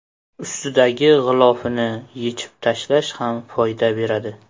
Ustidagi g‘ilofini yechib tashlash ham foyda beradi.